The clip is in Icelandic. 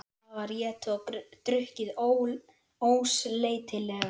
Það var étið og drukkið ósleitilega.